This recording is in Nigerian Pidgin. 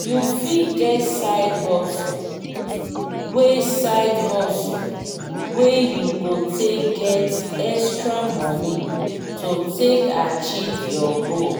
you fit get side hustle wey side hustle wey you go take get extra money to take achive your goal